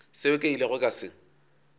seo ke ilego ka se